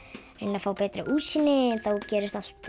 að fá betra útsýni en þá gerist allt